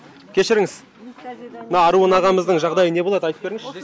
кешіріңіз мына аруын ағамыздың жағдайы не болады айтып беріңізші